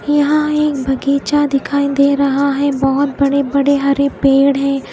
यहां एक बगीचा दिखाई दे रहा हैं बहोत बड़े बड़े हरे पेड़ हैं।